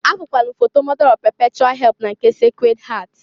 Afụkwalụ m foto Mọda ọf pepechual help na nke Secred Heart..